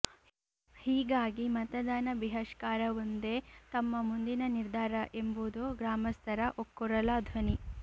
ಹೀಗಾಗಿ ಮತದಾನ ಬಿಹಷ್ಕಾರವೊಂದೇ ತಮ್ಮ ಮುಂದಿನ ನಿರ್ಧಾರ ಎಂಬುದು ಗ್ರಾಮಸ್ಥರ ಒಕ್ಕೂರಲ ಧ್ವನಿ